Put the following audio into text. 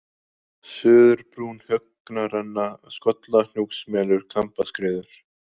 Suðurbrún, Högnarenna, Skollahnjúksmelur, Kambaskriður